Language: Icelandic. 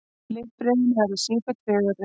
Litbrigðin verða sífellt fegurri.